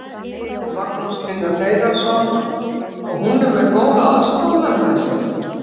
Magnús Hlynur Hreiðarsson: Og hún er með góða aðstoðarmenn með sér?